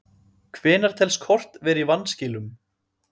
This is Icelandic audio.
Hvenær telst kort vera í vanskilum?